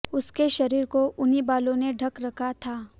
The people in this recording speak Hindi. उसके शरीर को उन्हीं बालों ने ढक रखा था